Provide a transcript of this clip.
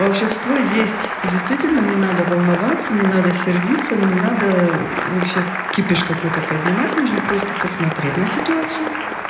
волшебство есть и действительно не надо волноваться не надо сердиться не надо вообще кипиш какой-то поднимать нужно просто посмотреть на ситуацию